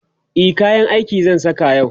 e kayan aiki zan Saka yau